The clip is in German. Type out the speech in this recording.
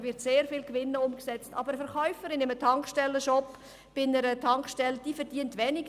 Da wird sehr viel Gewinn umge- setzt, aber die Verkäuferin in einem Tankstellenshop verdient wenig.